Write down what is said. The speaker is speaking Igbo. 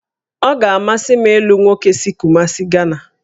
Ọ ga-amasị m ịlụ nwoke si Kumasị, Gana